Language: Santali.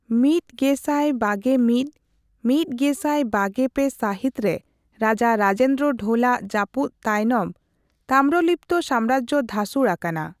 ᱑᱐᱒᱑ ᱑᱐᱒᱓ ᱥᱟᱦᱤᱛᱨᱮ ᱨᱟᱡᱟ ᱨᱟᱡᱮᱱᱫᱨᱚ ᱰᱷᱳᱞ᱾ᱟᱜ ᱡᱟᱯᱩᱫᱽ ᱛᱟᱭᱱᱟᱢ ᱛᱟᱢᱨᱚᱞᱤᱯᱽᱛᱚ ᱥᱟᱢᱨᱟᱡᱽᱡᱚ ᱫᱷᱟ.ᱥᱩᱲ ᱟᱠᱟᱱᱟ।